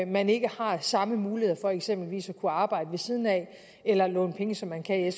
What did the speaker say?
man ikke har samme muligheder for eksempelvis at kunne arbejde ved siden af eller låne penge som man kan i